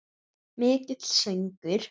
Mikill söngur.